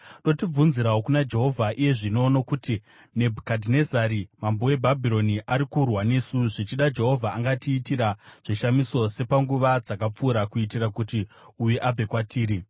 “Dotibvunzirawo kuna Jehovha iye zvino nokuti Nebhukadhinezari mambo weBhabhironi ari kurwa nesu. Zvichida Jehovha angatiitira zvishamiso sepanguva dzakapfuura kuitira kuti uyu abve kwatiri.”